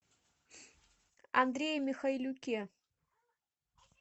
андрее михайлюке